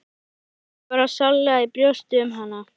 Ég kenndi bara sárlega í brjósti um hann.